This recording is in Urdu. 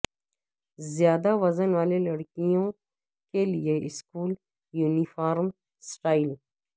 زیادہ وزن والے لڑکیوں کے لئے اسکول یونیفارم سٹائل